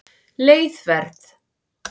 Leið Verð